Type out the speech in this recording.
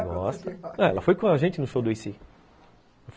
Ela foi com a gente no show do AC.